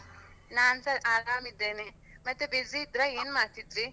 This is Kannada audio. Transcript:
ನಾನ್ಸಾ ಆರಾಮಿದ್ದೇನೆ. ಮತ್ತೆ busy ಇದ್ರ, ಏನ್ ಮಾಡ್ತಿದ್ರೀ?